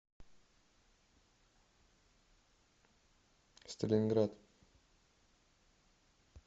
сталинград